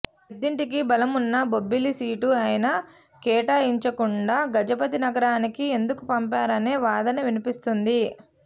పెద్దింటికి బలమున్న బొబ్బిలి సీటు అయినా కేటా యించకుండా గజపతినగరానికి ఎందుకు పంపా రనే వాదన వినిపిస్తోంది